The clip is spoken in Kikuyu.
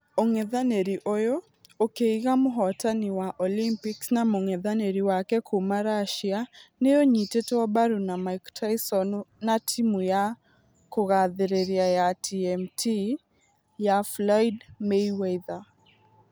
Ũngethanĩri ũyũ, ũkĩiga mũhotani wa olympics na mũngethanĩri wake kuuma russia nĩ ũnyitetwo mbaru na mike tyson na timũ ya kũgathĩrĩria ya tmt ya floyd Mayweather.